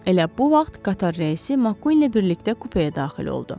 Elə bu vaxt qatar rəisi Mak ilə birlikdə kupeyə daxil oldu.